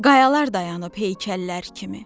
Qayalar dayanıb heykəllər kimi.